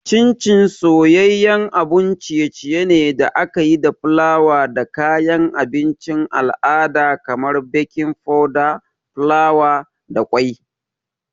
Chin Chin soyayyen abun ciye-ciye da aka yi da fulawa da kayan abincin al'ada kamar baking powder, fulawa, da kwai.